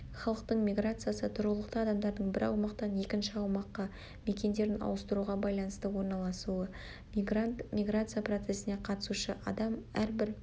халықтың миграциясы-тұрғылықты адамдардың бір аумақтан екінші аумаққа мекендерін ауыстыруға байланысты орналасуы мигрант-миграция процесіне қатысушы адам әрбір